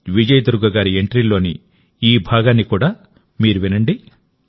విజయ దుర్గ గారి ఎంట్రీలోని ఈ భాగాన్ని కూడా మీరు వినండి